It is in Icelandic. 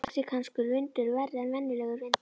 Er mexíkanskur vindur verri en venjulegur vindur?